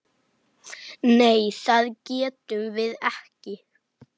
Nei það getum við ekki.